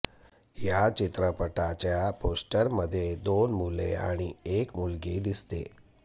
या चित्रपटाच्या पोस्टरमध्ये दोन मुले आणि एक मुलगी दिसते